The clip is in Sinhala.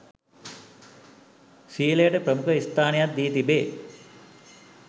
සීලයට ප්‍රමුඛ ස්ථානයක් දී තිබේ.